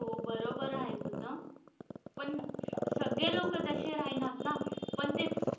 हो बरोबर आहे तुझं पण सगळे लोक तसे राहीनात ना पण ते.